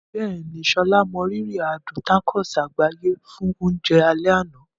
Bẹ́ẹ̀ni, Sola mọrírì adùn tacos àgbáyé fún oúnjẹ alẹ́ àná.